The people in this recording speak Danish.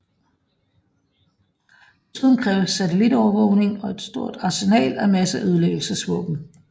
Desuden kræves satellitovervågning og et stort arsenal af masseødelæggelsesvåben